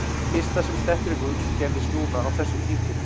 Það fyrsta sem mér dettur í hug gerðist núna á þessu tímabili.